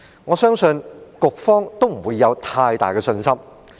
我相信局方沒有太大的信心。